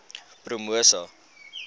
promosa